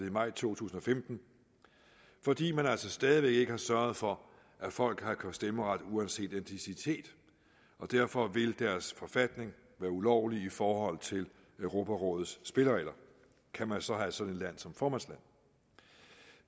i maj to tusind og femten fordi man altså stadig væk ikke har sørget for at folk har stemmeret uanset etnicitet derfor vil deres forfatning være ulovlig i forhold til europarådets spilleregler kan man så have sådan som formandsland